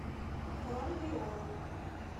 бронь виола